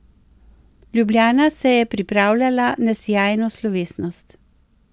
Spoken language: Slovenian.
Ljubljana se je pripravljala na sijajno slovesnost.